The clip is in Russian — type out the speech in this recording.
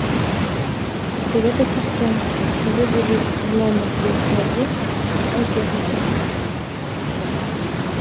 привет ассистент вызови в номер двести один сантехника